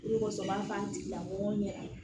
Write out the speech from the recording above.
I kosɔn u b'a fɔ an tigilamɔgɔw ɲɛna